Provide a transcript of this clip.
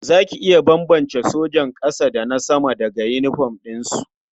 Za ki iya bambance sojan ƙasa da na sama daga yinifom ɗinsu?